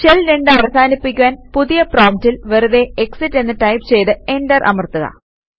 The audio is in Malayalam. ഷെൽ 2 അവസാനിപ്പിക്കുവാന് പുതിയ പ്രോംപ്റ്റിൽ വെറുതെ എക്സിറ്റ് എന്ന് ടൈപ് ചെയ്ത് എന്റർ അമർത്തുക